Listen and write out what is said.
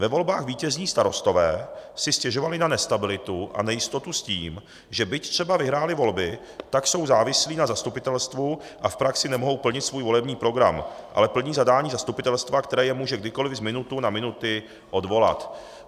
Ve volbách vítězní starostové si stěžovali na nestabilitu a nejistotu s tím, že byť třeba vyhráli volby, tak jsou závislí na zastupitelstvu a v praxi nemohou plnit svůj volební program, ale plní zadání zastupitelstva, které je může kdykoliv z minuty na minutu odvolat.